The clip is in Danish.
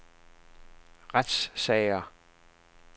retssager